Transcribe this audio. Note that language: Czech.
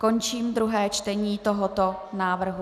Končím druhé čtení tohoto návrhu.